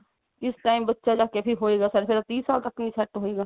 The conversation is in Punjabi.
ਕਿਸ time ਬੱਚਾ ਜਿਹੜਾ ਫੇਰ ਹੋਏਗਾ ਫਿਰ ਤੀਹ ਸਾਲ ਤੱਕ set ਨੀ ਹੋਏਗਾ